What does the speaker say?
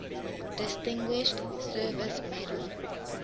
distinguished service medal